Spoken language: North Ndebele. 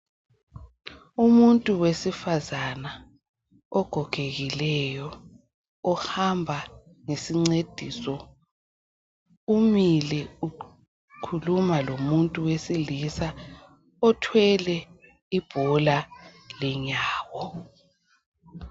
Umuntu wesifazana ogogekileyo umile ukhuluma lomuntu wesilisa uthwele ibhola lenyawo bayaxoxisana.